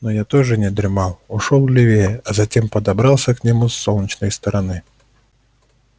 но я тоже не дремал ушёл левее а затем подобрался к нему с солнечной стороны